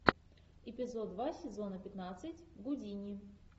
эпизод два сезона пятнадцать гудини